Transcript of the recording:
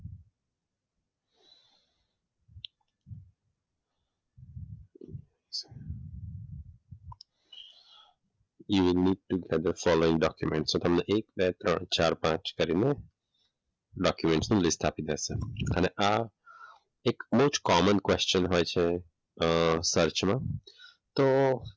you have need to add the following documents તો તમને એક, બે, ત્રણ, ચાર, પાંચ કરીને ડોક્યુમેન્ટ નું લિસ્ટ આપી દેશે. અને આ એટલો જ કોમન ક્વેશ્ચન હોય છે. અમ સર્ચમાં તો